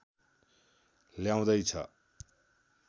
ल्याउँदै छ